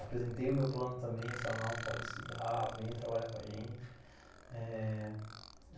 Apresentei o meu plano também, eles falaram, pode estudar, venha trabalhar com a gente. Eh...